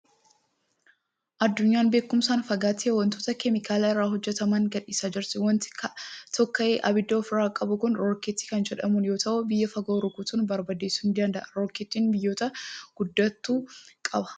Addunyaan beekumsaan waan fagaatteef wantoota keemikaala irraa hojjetaman gadhiisaa jirti. Waanti tokka'ee ibidda ofirraa qabu kun rookkettii kan jedhamu yoo ta'u, biyya fagoo rukutuun barbadeessuu ni danda'a. Rookkeetti biyyoota guddatantu qaba.